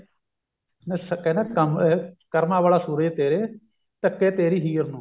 ਨਾ ਕਹਿੰਦਾ ਕੰਮ ਕਰਮਾ ਵਾਲਾ ਸਹੁਰੇ ਤੇਰੇ ਢੱਕੇ ਤੇਰੀ ਹੀਰ ਨੂੰ